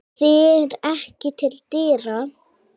Fer ekki til dyra.